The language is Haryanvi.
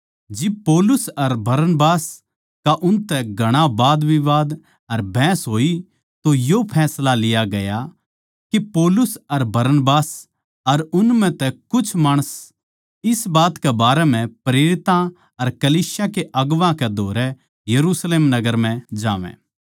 जिब पौलुस अर बरनबास का उनतै घणा वादविवाद अर बहस होई तो यो फैसला लिया गया के पौलुस अर बरनबास अर उन म्ह तै कुछ माणस इस बात कै बारै म्ह प्रेरितां अर कलीसिया के अगुवां कै धोरै यरुशलेम नगर म्ह जावै